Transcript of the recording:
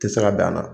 Tɛ se ka bɛn a la